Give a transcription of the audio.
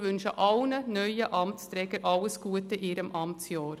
Wir wünschen allen neuen Amtsträgern alles Gute in ihrem Amtsjahr.